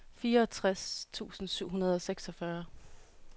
fireogtres tusind syv hundrede og seksogfyrre